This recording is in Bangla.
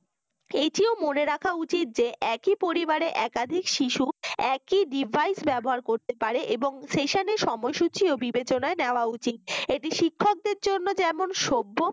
এটিও মনে রাখা উচিত যে একই পরিবারের একাধিক শিশু একই device ব্যবহার করতে পারে এবং secession এর সময়সূচি ও বিবেচনায় নেওয়া উচিত এটি শিক্ষকদের জন্য যেমন সভ্য